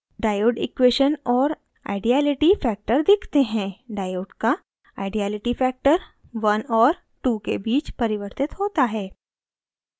diode equation और ideality factor दिखते हैं diode का ideality factor 1 और 2 के बीच परिवर्तित होता है